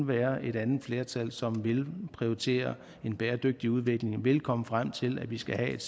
være et andet flertal som vil prioritere en bæredygtig udvikling vil komme frem til at vi skal have et